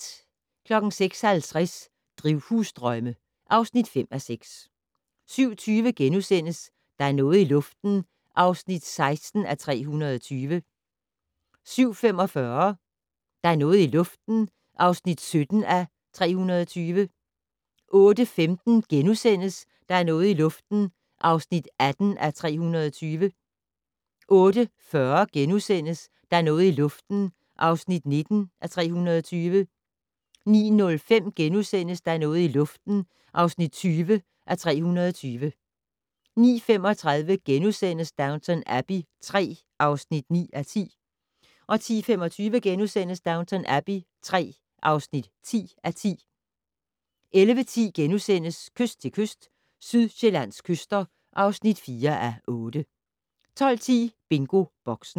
06:50: Drivhusdrømme (5:6) 07:20: Der er noget i luften (16:320)* 07:45: Der er noget i luften (17:320) 08:15: Der er noget i luften (18:320)* 08:40: Der er noget i luften (19:320)* 09:05: Der er noget i luften (20:320)* 09:35: Downton Abbey III (9:10)* 10:25: Downton Abbey III (10:10)* 11:10: Kyst til kyst - Sydsjællands kyster (4:8)* 12:10: BingoBoxen